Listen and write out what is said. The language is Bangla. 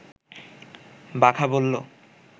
বাঘা বলল